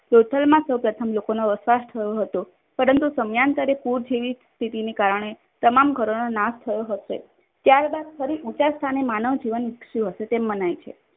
લોથલમાં સૌ પ્રથમ લોકોનો વસવાટ થયો હતો. પરંતુ સમયાંતરે પૂર જેવી સ્થિતિને કારણે તમામ ઘરોનો નાશ હશે. ત્યાર બાદ ફરી ઊંચા સ્થાને માનવ જીવન વિકસ્યું હશે તેમ મનાય છે.